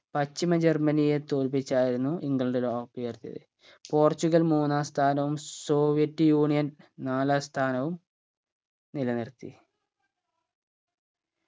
പശ്ചിമ ജർമനിയെ തോല്പിച്ചായിരുന്നു ഇംഗ്ലണ്ട് ലോക cup ഉയർത്തിയത് പോർച്ചുഗൽ മൂന്നാം സ്ഥാനവും സോവിയറ്റ് യൂണിയൻ നാലാം സ്ഥാനവും നിലനിർത്തി